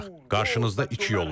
Qarşınızda iki yol var.